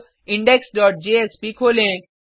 अब index dot JSP खोलें